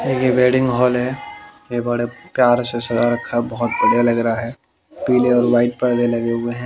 ये wedding hall है ये बड़े प्यार से सजा रखा है बहोत बढ़िया लग रहा है पीले और व्हाईट पर्दे लगे हुए हैं।